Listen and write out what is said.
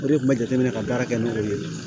O de kun bɛ jateminɛ ka baara kɛ n'o ye